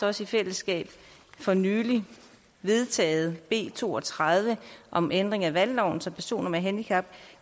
også i fællesskab for nylig vedtaget b to og tredive om ændring af valgloven så personer med handicap